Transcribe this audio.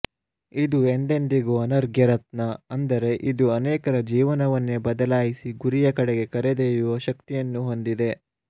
ಇದು ಎಂದೆಂದಿಗೂ ಅನರ್ಗ್ಯ ರತ್ನ ಅಂದರೆ ಇದು ಅನೇಕರ ಜೀವನವನ್ನೇ ಬದಲಾಯಿಸಿ ಗುರಿಯ ಕಡೆಗೆ ಕರೆದೊಯ್ಯುವ ಶಕ್ತಿಯನ್ನು ಹೊಂದಿದೆ